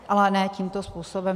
Ale ne tímto způsobem.